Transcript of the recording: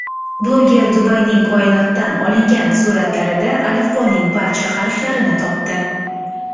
Bloger Dubayning koinotdan olingan suratlarida alifboning barcha harflarini topdi .